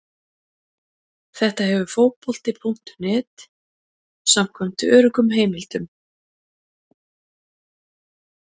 Þetta hefur Fótbolti.net samkvæmt öruggum heimildum.